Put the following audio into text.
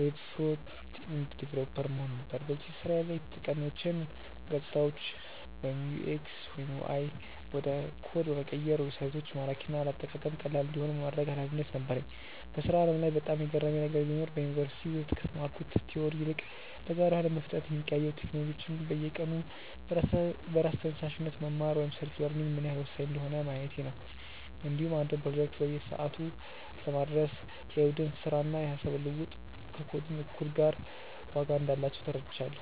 (Web Front-End Developer) መሆን ነበር። በዚህ ስራዬ ላይ የተጠቃሚዎችን ገፅታዎች (UI/UX) ወደ ኮድ በመቀየር ዌብሳይቶች ማራኪና ለአጠቃቀም ቀላል እንዲሆኑ የማድረግ ኃላፊነት ነበረኝ። በስራው ዓለም ላይ በጣም የገረመኝ ነገር ቢኖር፣ በዩኒቨርሲቲ ውስጥ ከተማርኩት ቲዎሪ ይልቅ በገሃዱ አለም በፍጥነት የሚቀያየሩ ቴክኖሎጂዎችን በየቀኑ በራስ ተነሳሽነት መማር (Self-learning) ምን ያህል ወሳኝ እንደሆነ ማየቴ ነው። እንዲሁም አንድን ፕሮጀክት በሰዓቱ ለማድረስ የቡድን ስራና የሃሳብ ልውውጥ ከኮዲንግ እኩል ዋጋ እንዳላቸው ተረድቻለሁ።